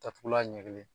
Datugulan ɲɛ kelen